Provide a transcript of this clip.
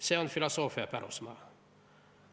See on filosoofia pärusmaa.